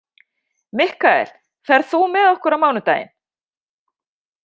Mikkael, ferð þú með okkur á mánudaginn?